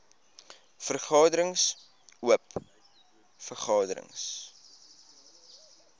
vergaderings oop vergaderings